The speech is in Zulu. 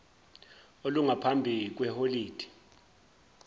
olungaphambi kwe holide